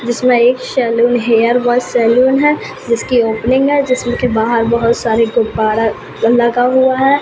जिसमे एक salon hair व सैलून है जिसकी ओपनिंग है जिसमे की बाहर बहोत सारे गुब्बारा लगा हुआ है।